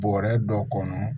Bɔrɛ dɔ kɔnɔ